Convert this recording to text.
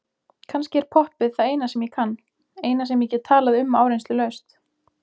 Kannski er poppið það eina sem ég kann, eina sem ég get talað um áreynslulaust.